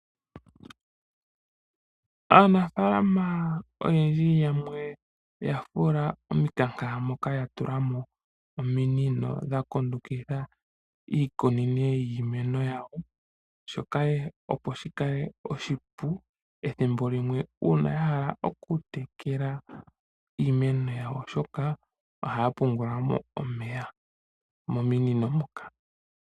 Aanafaalama yamwe oye li yafula omikanka moka yatulamo ominino dha kundukidha iimeno yawo. Shika ohashi ningile oshipu uuna yahala okutekela iimeno yawo molwaashoka ohaya pungulamo omeya mominino moka.